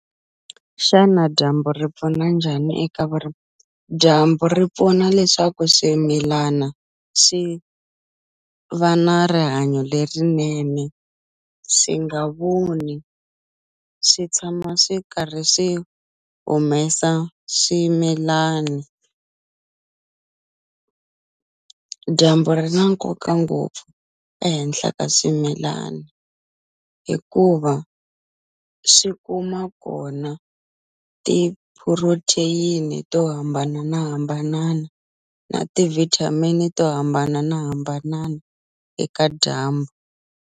Xana dyambu ri pfuna njhani eka dyambu ri pfuna leswaku swimilana swi va na rihanyo lerinene swi nga vuni swi tshama swi karhi swi humesa swimilani dyambu ri na nkoka ngopfu ehenhla ka swimilani hikuva swi kuma kona ti-protein to hambanana hambanana na ti-vitamin to hambanana hambanana eka dyambu.